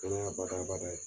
Kɛnɛya bada bada ye